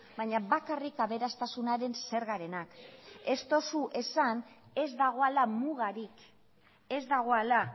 baina bakarrik aberastasunaren zergarenak ez duzu esan ez dagoela mugarik ez dagoela